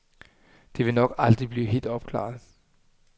Det vil nok aldrig blive helt opklaret.